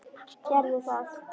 Gerðu það!